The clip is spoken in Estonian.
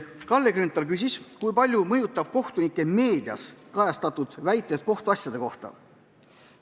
Kalle Grünthal küsis, kui palju mõjutavad kohtunikke meedias kajastatud kommentaarid kohtuasjade kohta.